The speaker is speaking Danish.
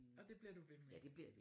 Og det bliver du ved med?